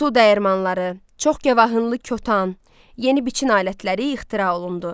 Su dəyirmanları, çox kəvahınlı kotan, yeni biçin alətləri ixtira olundu.